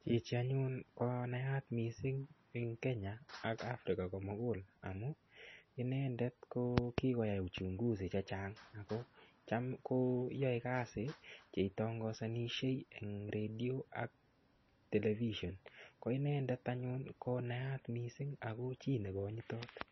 Chichi anyun konayat mising' eng' Kenya ak Africa komugul amu inendet ko kikoyai uchunguzi chechang' ako cham koyoei kasi cheitongosonishei eng' radio ak tevishen ko inendet anyun ko nayat mising' ako chi nekonyitot